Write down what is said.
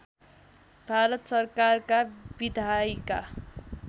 भारत सरकारका विधायिका